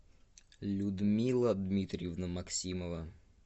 людмила дмитриевна максимова